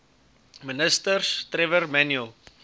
ministers trevor manuel